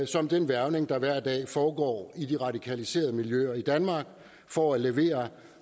samt den hvervning der hver dag foregår i de radikaliserede miljøer i danmark for at levere